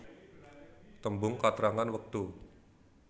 Tembung katrangan wektu